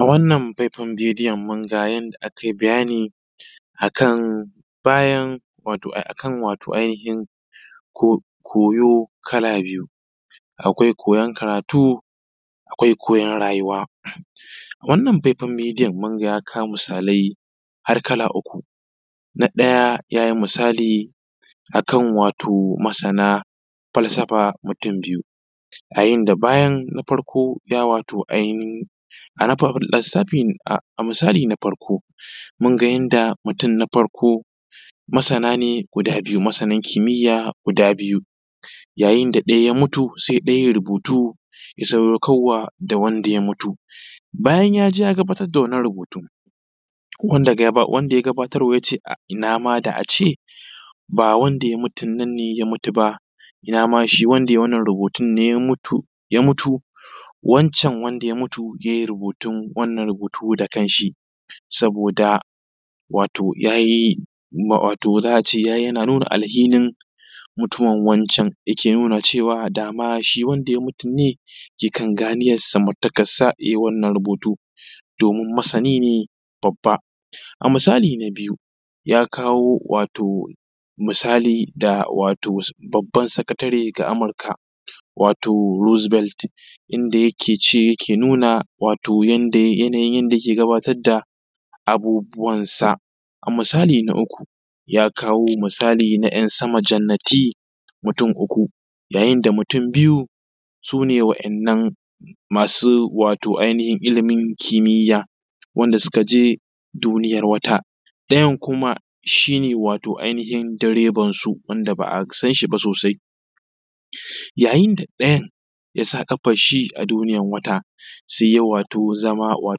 A wannan faifayan bidiyon mun ga yadda aka yi bayani a kan wato koyo kala biyu. Akwai koyon karatun, akwai koyon rayuwa. Wannan faifayan bidiyo mun ga ya kawo misalai har kala uku. Na ɗaya ya yi misali a kan wato masana falsafa mutun biyu yayin da bayan na farko ya wato a misali na farko ka ga yanda mutun na farko masana ne guda biyu masan kimiya guda biyu yayin da ɗaya ya mutu sai ɗaya yayi rubutu ya sadaukar wa da wanda ya mutu. Bayan ya je ya gabatar da wannan rubutun wanda ya gabatar ma wa yace ina ma a ce ba wanda ya mutun nan ne ya mutu ba ina ma shi wanda yayi wannan rubutun ne ya mutu, wancan wanda ya mutu yayi rubutun wannan rubutu da kan shi. Saboda wato ya yi za a ce wato yana nuna alhinin mutuwan wancan yake nuna cewa dama shi wanda ya mutun ne ke kan ganiyar samartakan sa na rubutu domin masani ne babba. A misali na biyu ya kawo wato misali wato da baban sakatare ga Amurka wato rose belt inda shi yake nuna wato yananyin yanda yake gabatar da abubuwan sa. A misali na uku ya kawo misali na ‘yan sama jannati mutun uku yayin da mutun biyu su ne wa'innan masu wato masu wato ainihin illimin kimiya wanda su ka je duniyan wata. Ɗayan kuma shi ne wato ainahin direbansu wanda ba a san shi ba sosai. Yayin da ɗayan ya sa ƙafan shi a duniyan wata, sai ya wato zama a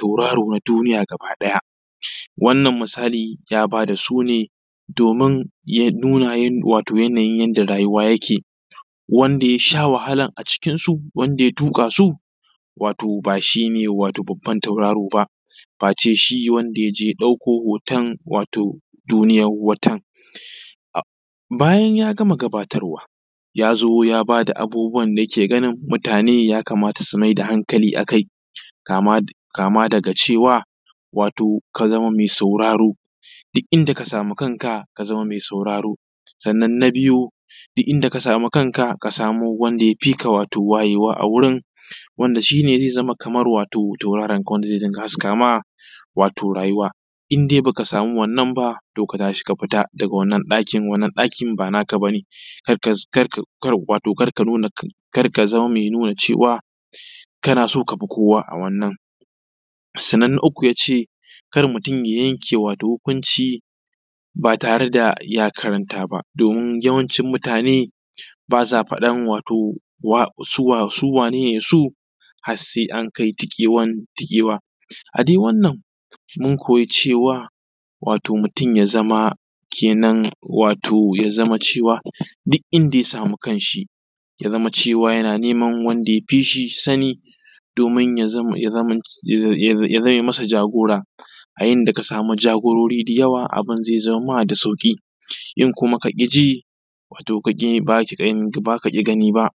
tauraron duniya gaba ɗaya wannan misali ya ba da sune domin ya nuna wato yanayin da rayuwa yake wanda ya sha wahalan a cikin su wanda ya tuƙa su ba shine babban tauraron ba face shi wanda ya je ya ɗauko hoton duniyan wata. Bayan ya gama gabatarwa ya zo ya ba da abubuwan da yake ganin mutane ya kamata su mai da hankali a kai kama daga cewa ka zama mai sauraro duk inda ka samu kan ka, ka zama mai sauraro. Sannan na biyu duk inda ka samu kan ka ka samu wanda ya fi ka wayewa a wurin wanda shi ne zai zama kamar tauraron ka wanda zai dinga haska ma wato rayuwa. In dai baka samu wannan ba to ka tashi ka fita daga wannan ɗakin wannan ɗakin ba naka bane, kar ka zama mai nuna cewa kana so kafi kowa a wannan. Sannan na uku ya ce kar mutun ya yanke hukunci ba tare da ya karanta ba domin yawancin mutane ba sa faɗan su waye su sai an kai tiƙewan tiƙewa. A dai wannan mun koya cewa mutun ya zama cewa duk inda ya samu kan shi ya zama cewa yana neman wanda ya fishi sanidomin ya zame masa jagora a inda ka samu jagorori da yawa abun zai zo ma da sauƙi in kaƙi ji ba ka ƙi gani ba.